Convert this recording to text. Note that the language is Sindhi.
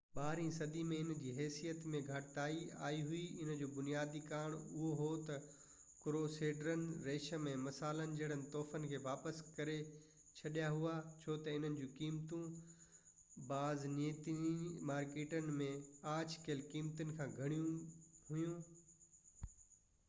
ٻارهين صدي ۾ ان جي حيثيت ۾ گهٽتائي آئي هئي ان جو بنيادي ڪارڻ اهو هو تہ ڪروسيڊرن ريشم ۽ مصالن جهڙن تحفن کي واپس ڪري ڇڏيا هئا ڇو تہ انهن جو قيمتون بازنطيني مارڪيٽن ۾ آڇ ڪيل قيمتن کان گهڻيون هويون